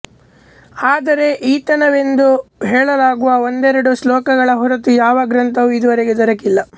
ಆದರೆ ಈತನವೆಂದು ಹೇಳಲಾಗುವ ಒಂದೆರಡು ಶ್ಲೋಕಗಳ ಹೊರತು ಯಾವ ಗ್ರಂಥವೂ ಇದುವರೆಗೆ ದೊರೆತಿಲ್ಲ